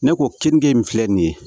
Ne ko kenige in filɛ nin ye